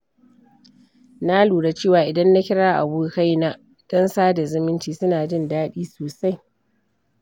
Na lura cewa idan na kira abokaina don sada zumunci, suna jin daɗi sosai.